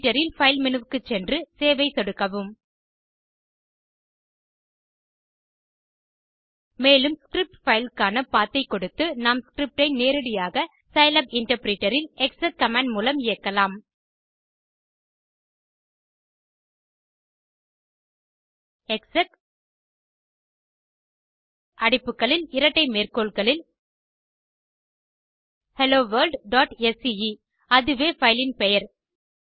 editor இல் file menu க்குச்சென்று save ஐ சொடுக்கவும் மேலும் ஸ்கிரிப்ட் பைல் க்கான பத் ஐ கொடுத்து நாம் ஸ்கிரிப்ட் ஐ நேரடியாக சிலாப் இன்டர்பிரிட்டர் இல் எக்ஸெக் கமாண்ட் மூலம் இயக்கலாம் எக்ஸெக் அடைப்புகளில் இரட்டை மேற்கோள்களில் helloworldஸ்கே அதுவே பைல் பெயர்